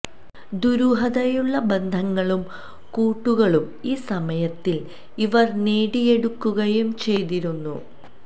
ദുരൂഹതയുള്ള ബന്ധങ്ങളും കൂട്ടുകളും ഈ സമയത്തിൽ ഇവർ നേടിയെടുക്കുകയും ചെയ്തിരുന്നു